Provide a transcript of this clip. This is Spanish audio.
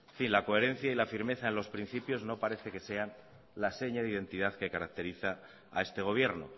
en fin la coherencia y la firmeza en los principios no parece que sea la seña de identidad que caracteriza a este gobierno